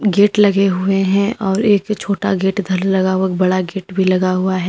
Gate लगे हुए हैं और एक छोटा गेट इधर लगा हुआ बड़ा गेट भी लगा हुआ है।